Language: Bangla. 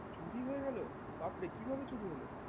চুরি হয়ে গেলো বাপরে কি ভাবে চুরি হলো